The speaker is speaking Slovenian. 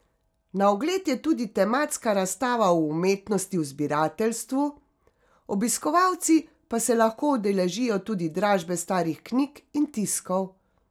Na ogled je tudi tematska razstava o umetnosti v zbirateljstvu, obiskovalci pa se lahko udeležijo tudi dražbe starih knjig in tiskov.